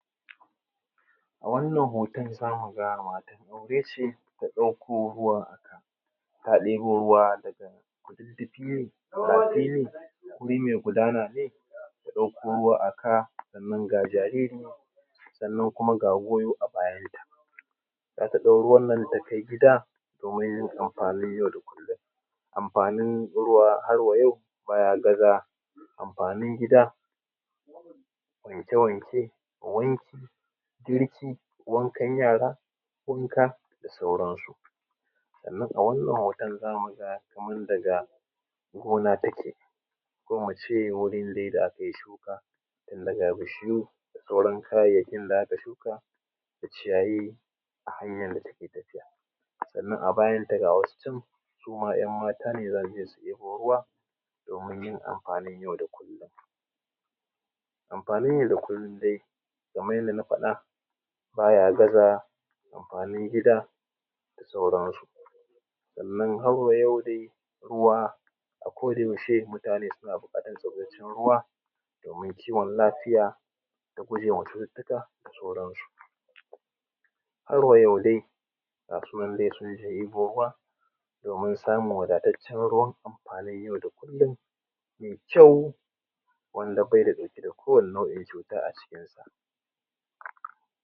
A wannan hoton za mu ga matan aure ce ta ɗauko ruwa ta ɗebo ruwa daga kududdufi ne, rafi ne, wuri mai gudana ne. Ta ɗauko ruwa a ka, sannan kuma ga jariri sannan kuma ga goyo a bayanta. Ta ɗau ruwa ta gida domin yin amfani na yau da kullum. Amfanin ruwa harwa yau baya gaza amfanin gida, wanke-wanke, wanki, girki, wankan yara da sauranasu. Sannan a wannan hotan za mu ga kaman daga gona take ko mu ce dai gurin da akai shuka wanda ga bishiyu da sauran kayayyakin da aka shuka da ciyayi a hanyar da take tafiya. Sannan a bayanta ga wasu can yan mata za su je su ‘yabo ruwa domin amfanin yau da kullum. Amfanin yau da kullum dai kaman yadda na faɗa baya gaza amfanin gida, da sauranasu. Sannan harwa yau dai ruwa a kodayaushe mutane suna buƙatan zancen ruwa domin kiwon lafiya da gujewa cututtuka da sauranasu. harwa yau dai ga su nan dai sun je ‘yabo ruwa domin samun wadataccen ruwan amfanin yau da kullum, mai kyau wanda bai ɗauke da nau’in kowane cuta a cikinsa.